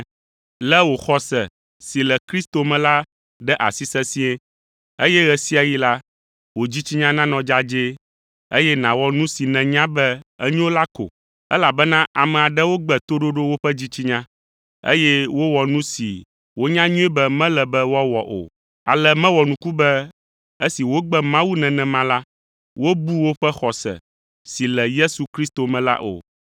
Lé wò xɔse si le Kristo me la ɖe asi sesĩe, eye ɣe sia ɣi la, wò dzitsinya nanɔ dzadzɛe, eye nàwɔ nu si nènya be enyo la ko. Elabena ame aɖewo gbe toɖoɖo woƒe dzitsinya, eye wowɔ nu si wonya nyuie be mele be woawɔ o. Ale mewɔ nuku be esi wogbe Mawu nenema la, wobu woƒe xɔse si le Yesu Kristo me la o.